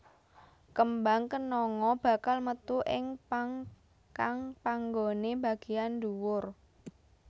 Kembang kenanga bakal metu ing pang kang panggoné bagéyan dhuwur